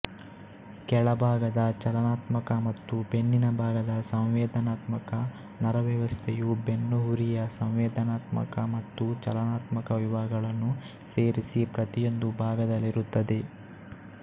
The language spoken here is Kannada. ಕೆಳಬಾಗದ ಚಲನಾತ್ಮಕ ಮತ್ತು ಬೆನ್ನಿನ ಭಾಗದ ಸಂವೇದನಾತ್ಮಕ ನರವ್ಯವಸ್ಥೆಯು ಬೆನ್ನುಹುರಿಯ ಸಂವೇದನಾತ್ಮಕ ಮತ್ತು ಚಲನಾತ್ಮಕ ವಿಭಾಗಗಳನ್ನು ಸೇರಿಸಿ ಪ್ರತಿಯೊಂದು ಭಾಗದಲ್ಲಿರುತ್ತದೆ